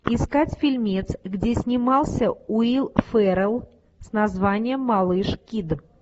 искать фильмец где снимался уилл феррелл с названием малыш кид